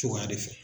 Cogoya de fɛ